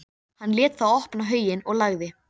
þannig að hann hefni sín ekki á okkur, sagði Kobbi.